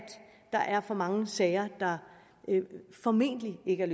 der er for mange sager der formentlig ikke er